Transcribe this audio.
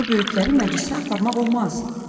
Səni böyüklərin məclisinə aparmaq olmaz.